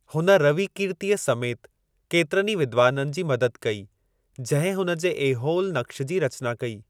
हुन रविकीर्तिअ समेत केतिरनि विद्वाननि जी मदद कई, जंहिं हुन जे ऐहोल नक्श जी रचना कई।